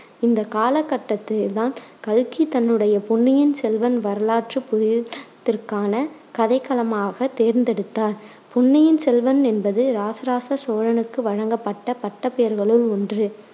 இந்தக் காலகட்டத்தைத்தான் கல்கி தன்னுடைய பொன்னியின் செல்வன் வரலாற்றுப் புதினத்திற்கான கதைக்களமாகத் தேர்ந்தெடுத்தார். பொன்னியின் செல்வன் என்பது இராசராச சோழனுக்கு வழங்கப்பட்ட பட்டப்பெயர்களுள் ஒன்று,